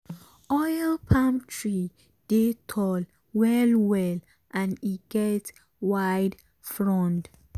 oil palm tree dey tall well well and e get wide frond.